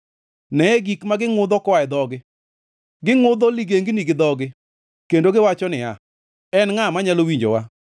Neye gik ma gingʼudho koa e dhogi, gingʼudho ligengni gi dhogi, kendo giwacho niya, “En ngʼa manyalo winjowa?”